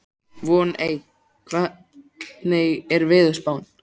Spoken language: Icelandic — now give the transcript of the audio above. Voney, hvernig er veðurspáin?